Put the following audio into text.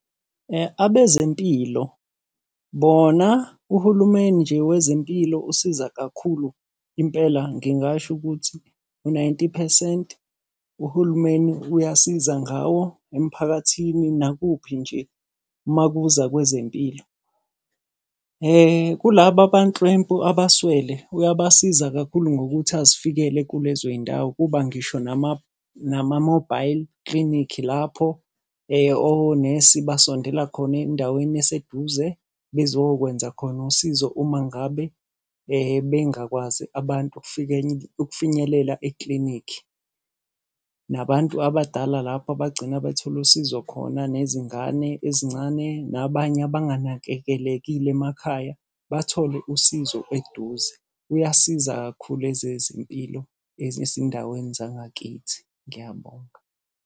Abezempilo bona uhulumeni nje wezempilo usiza kakhulu impela ngingasho ukuthi u-ninety phesenti, uhulumeni uyasiza ngawo emphakathini nakuphi nje uma kuza kwezempilo. Kulabo abanhlwempu abaswele, uyabasiza kakhulu ngokuthi azifikele kulezo iy'ndawo. Kuba ngisho nama-mobile clinic lapho onesi basondela khona endaweni eseduze bezokwenza khona usizo uma ngabe bengakwazi abantu ukufinyelela eklinikhi. Nabantu abadala lapho abagcina bethole usizo khona nezingane ezincane, nabanye abanganakekelekile emakhaya, bathole usizo eduze. Uyasiza kakhulu ezezempilo ezisendaweni zangakithi. Ngiyabonga.